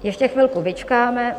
Ještě chvilku vyčkáme.